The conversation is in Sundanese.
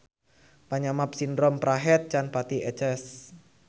Panyabab sindrom prahed can pati eces.